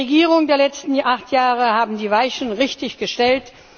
Die Regierungen der letzten acht Jahre haben die Weichen richtig gestellt.